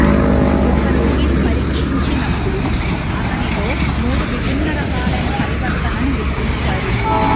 ఒక రోగిని పరీక్షించినప్పుడు అతనిలో మూడు విభిన్న రకాలైన పరివర్తనను గుర్తించారు